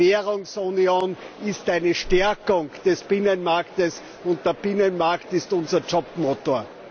Die Währungsunion ist eine Stärkung des Binnenmarkts, und der Binnenmarkt ist unser Jobmotor.